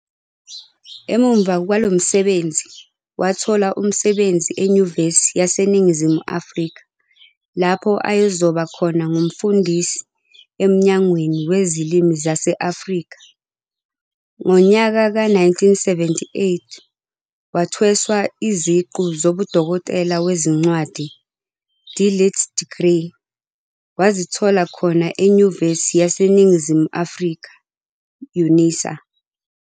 Emumva kwalomsebenzi wathola umsebenzi eNyuvesi yaseNingizimu Afrika lapho ayezoba khona ngumfundisi eMnyangweni weZilimi zase-Afrika. Ngonyaka wezi-1978 wathweswa iziqu zobuDokotela weziNcwadi, "D Litt Degree", wazithola khona eNyuvesi yaseNingizimu Afrika, UNISA.